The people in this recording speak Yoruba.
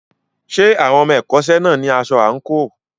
Ṣé àwọn ọmọ ẹ̀kọ́ṣẹ́ náà ní aṣọ àǹkóò?